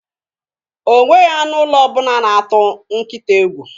Onye maara mmadu nke 9ma adighi enyecha ya nSQP\lf\l rubere ya.